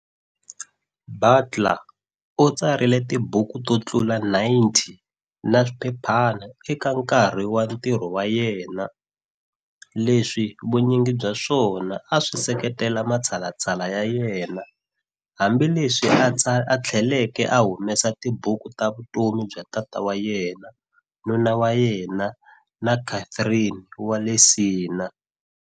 Butler u tsarile tibuku to tlula 90 na swiphephana eka nkarhi wa ntirho wa yena, leswi vunyingi bya swona a swi seketela matshalatshala ya yena, hambi leswi a tlheleke a humesa tibuku ta vutomi bya tata wa yena, nuna wa yena na Catherine wa le Siena.